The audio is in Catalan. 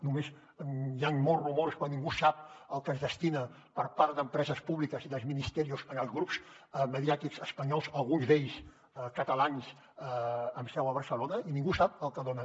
només hi han molts rumors però ningú sap el que es destina per part d’empreses públiques i dels ministerios als grups mediàtics espanyols alguns d’ells catalans amb seu a barcelona i ningú sap el que dona